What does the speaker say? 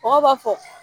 Mɔgɔw b'a fɔ